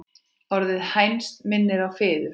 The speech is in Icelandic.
Orðið hænsn minnir á fiður.